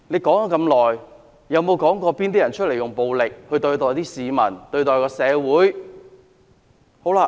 可是，他有否指出是甚麼人用暴力對待市民或社會的呢？